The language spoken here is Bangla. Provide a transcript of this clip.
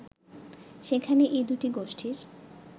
সেখানেই এই দুটি গোষ্ঠীর